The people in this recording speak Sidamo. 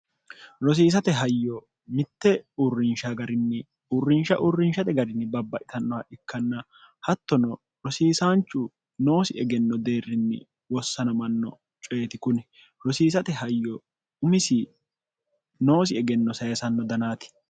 rosiisate hayyo mitte uurrinsha garinni uurrinsha uurrinshate garinni babba itannoha ikkanna hattono rosiisaanchu noosi egenno deerrinni wossanomanno coyeti kuni rosiisate hayyo umisi noosi egenno sayesanno danaati